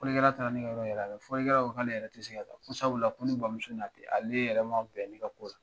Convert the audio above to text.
Fɔlikɛla taara ne ka yɔrɔ yɛrɛ la, fɔlikɛla ko k'ale yɛrɛ ti se ka ka ta ko sabu la ko ne bamuso n'a tɛ ale yɛrɛ ma bɛn ne ka ko la.